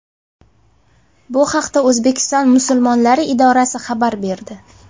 Bu haqda O‘zbekiston musulmonlari idorasi xabar berdi.